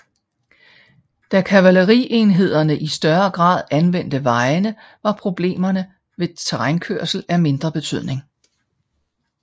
Da kavalerienhederne i større grad anvendte vejene var problemerne ved terrænkørsel af mindre betydning